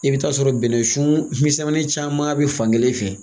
I bɛ taa sɔrɔ bɛnɛsuun misɛmanin caaman be fan kelen fɛ.